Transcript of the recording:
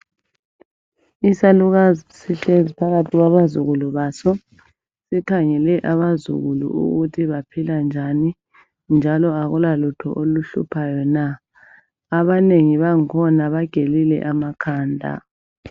Isalukazi sihlezi phakathi kwabazukuku baso, sikhangele ukuthi abazukulu baphila njani njalo akulalutho oluhluphayo na? Abanengi bangikhona bagelile amakhanda.